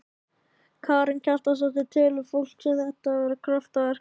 Karen Kjartansdóttir: Telur fólk þetta ekki vera kraftaverk?